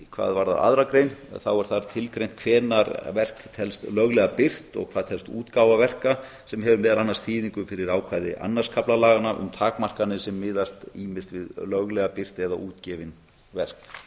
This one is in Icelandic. hvað varðar aðra grein er þar tilgreint hvenær verk telst löglega birt og hvað telst útgáfa verka sem hefur meðal annars þýðingu fyrir ákvæði öðrum kafla laganna um takmarkanir sem miðast ýmist við löglega birt eða útgefin verk hvað